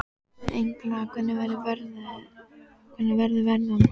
Engla, hvernig verður veðrið á morgun?